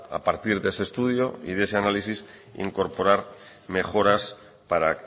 a partir de ese estudio y de ese análisis incorporar mejoras para